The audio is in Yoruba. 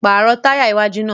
Paarọ taya iwaju naa!